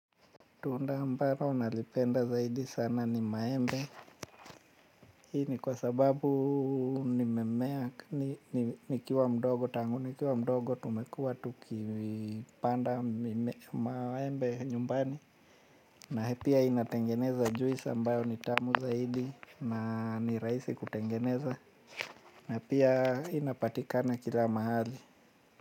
Tunda ambalo nalipenda zaidi sana ni maembe. Hii ni kwa sababu nimemea, nikiwa mdogo tangu, nikiwa mdogo tumekuwa tukipanda maembe nyumbani. Na pia inatengeneza juisi ambayo ni tamu zaidi na ni rahisi kutengeneza. Na pia inapatikana kila mahali.